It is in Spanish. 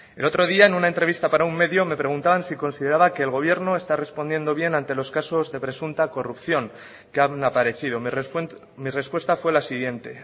el otro día en una entrevista para un medio me preguntaban si consideraba que el gobierno está respondiendo bien ante los casos de presunta corrupción que han aparecido mi respuesta fue la siguiente